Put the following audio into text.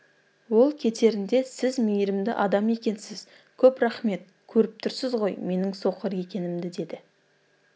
ол кетерінде сіз мейірімді адам екенсіз көп рахмет көріп тұрсыз ғой менің соқыр екенімді деді